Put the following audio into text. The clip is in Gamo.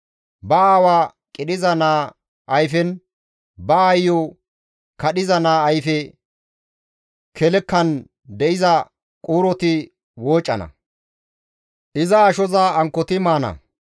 «Ba aawa qidhiza naa ayfenne, ba aayo kadhiza naa ayfe kelkan de7iza quuroti woocana; iza ashoza ankkoti maana.